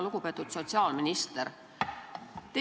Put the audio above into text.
Lugupeetud sotsiaalminister!